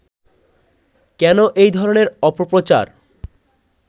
কেন এই ধরনের অপপ্রচার